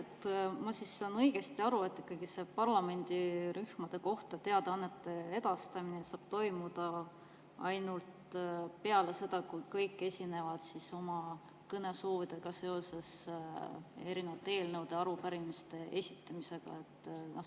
Kas ma saan õigesti aru, et parlamendirühmade kohta teadaannete edastamine saab toimuda ainult peale seda, kui kõik on esinenud oma kõnesoovidega eelnõude ja arupärimiste esitamiseks?